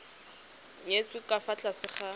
nyetswe ka fa tlase ga